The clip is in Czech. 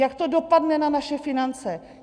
Jak to dopadne na naše finance?